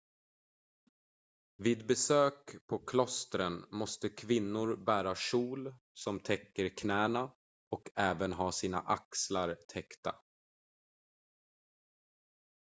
vid besök på klostren måste kvinnor bära kjol som täcker knäna och även ha sina axlar täckta